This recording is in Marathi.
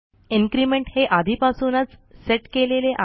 इन्क्रिमेंट हे आधीपासूनच सेट केलेले आहे